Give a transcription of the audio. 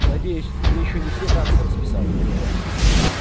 надеюсь ты ещё не все танцы расписала